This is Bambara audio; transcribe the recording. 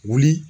Wuli